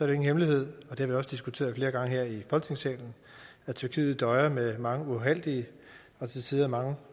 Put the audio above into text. det ingen hemmelighed og det har vi også diskuteret flere gange her i folketingssalen at tyrkiet døjer med mange uheldige og til tider mange